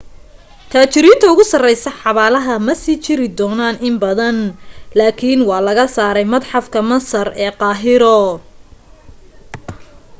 taajiriinta ugu sareysa xabaalaha ma sii jiri doonaaan in badan lakin waa laga saaray madxafka masar ee qahiro